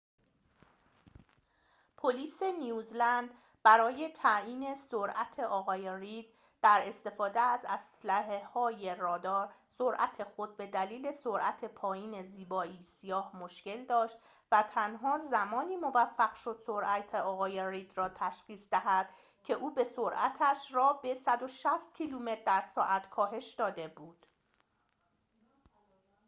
پلیس نیوزلند برای تعیین سرعت آقای رید در استفاده از اسلحه های رادار سرعت خود به دلیل سرعت پایین زیبایی سیاه مشکل داشت و تنها زمانی موفق شد سرعت آقای رید را تشخیص دهد که او به سرعتش را به ۱۶۰ کیلومتر در ساعت کاهش داده بود